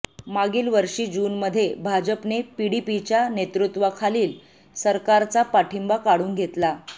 मागील वर्षी जूनमध्ये भाजपने पीडीपीच्या नेतृत्वाखालील सरकारचा पाठिंबा काढून घेतला